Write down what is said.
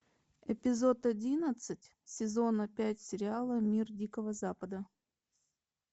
эпизод одиннадцать сезона пять сериала мир дикого запада